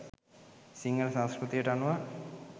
සිංහල සංස්කෘතියට අනුව